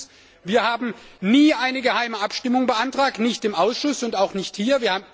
Erstens Wir haben nie eine geheime Abstimmung beantragt nicht im Ausschuss und auch nicht hier!